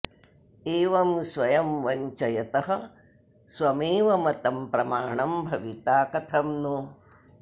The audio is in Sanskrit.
एवं स्वयं वञ्चयतः स्वमेव मतं प्रमाणं भविता कथं नु